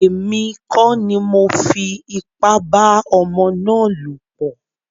Èmi kọ́ ni mọ fi ipá bá ọmọ ná lọ̀ pọ̀.